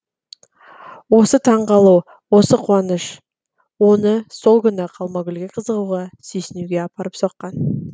осы таң қалу осы қуаныш оны сол күні ақ алмагүлге қызығуға сүйсінуге апарып соққан